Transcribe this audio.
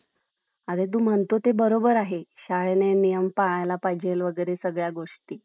अरे तू म्हणतो ते बरोबर आहे , शाळेने नियम पाळायला पाहिजेल वेगैरे सर्व गोष्टी ,